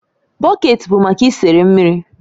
Bọket bụ maka isere mmiri